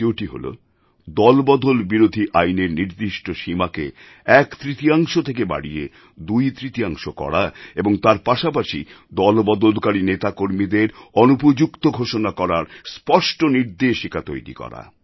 দ্বিতীয়টি হল দলবদল বিরোধী আইনের নির্দিষ্ট সীমাকে একতৃতীয়াংশ থেকে বাড়িয়ে দুইতৃতীয়াংশ করা এবং তার পাশাপাশি দলবদলকারী নেতাকর্মীদের অনুপযুক্ত ঘোষণা করার স্পষ্ট নির্দেশিকা তৈরি করা